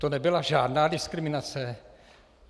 To nebyla žádná diskriminace?